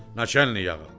Naçəlnik ağa!